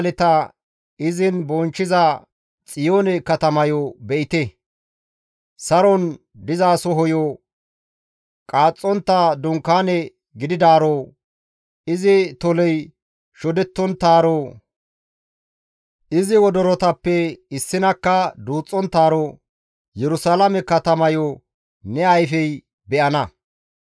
Nu ba7aaleta izin bonchchiza Xiyoone katamayo be7ite! Saron dizasohoyo, qaaxxontta dunkaane gididaaro, izi toley shodettonttaaro, izi wodorotappe issinakka duuxxonttaaro Yerusalaame katamayo ne ayfey be7ana.